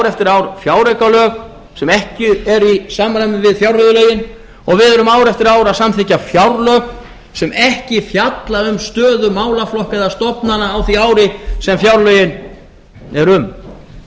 eftir ár fjáraukalög sem ekki eru í samræmi við fjárreiðulögin og við erum ár eftir ár að samþykkja fjárlög sem ekki fjalla um stöðu málaflokka eða stofnana á því ári sem fjárlögin eru um